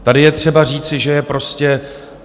Tady je třeba říci, že je prostě...